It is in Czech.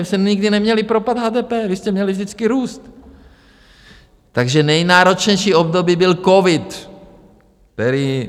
Vy jste nikdy neměli propad HDP, vy jste měli vždycky růst, takže nejnáročnější období byl covid, který...